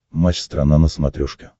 матч страна на смотрешке